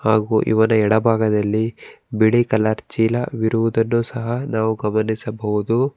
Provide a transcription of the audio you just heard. ಹಾಗು ಇವರ ಎಡ ಭಾಗದಲ್ಲಿ ಬಿಳಿ ಕಲರ್ ಚೀಲ ವಿರುವುದನ್ನು ಸಹ ನಾವು ಗಮನಿಸಬಹುದು.